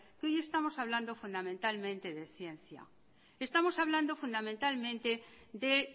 que hoy estamos hablando fundamentalmente de ciencia estamos hablando fundamentalmente de